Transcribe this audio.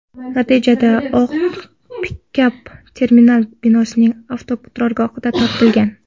Natijada oq pikap terminal binosining avtoturargohidan topilgan.